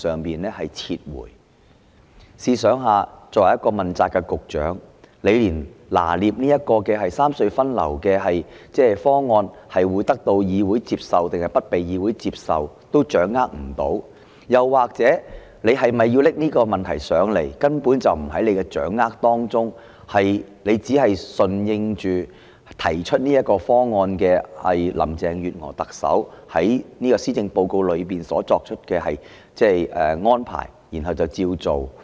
大家試想想，作為一個問責局長，連三隧分流方案會否得到議會接受也掌握不到，又或者局長根本掌握不到是否應向本會提交有關方案，他只是順應提出方案的林鄭月娥特首在施政報告內作出的安排，然後便照着辦。